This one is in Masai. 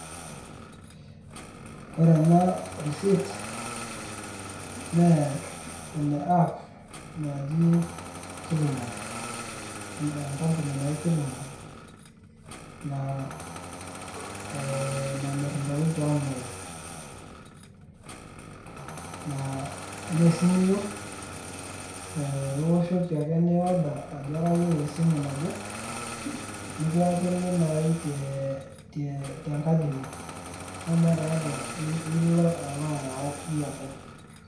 Ore ena risit, naa ene app naji Killmall, enkampuni naji Killmall namir intokiting' te online. Tenaa kesimu iyieu, eh iwoshoki ake ni order ajo kayieu esimu naje, nikiyakini nai te te tenkaji ino. Neeku meeta aja pilo alo ayau iyie openy.